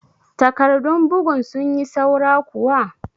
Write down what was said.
Takarɗun bugun sun yi saura kuwa?